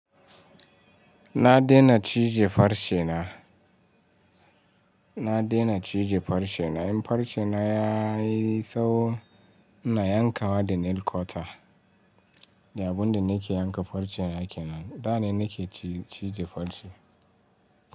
Na dena cije farce na. Na dena cije farce na. In farce na yayi sawo ina yankawa da nail corta. Da abun da nike yanka farce nike nan. Da na nike cije farce.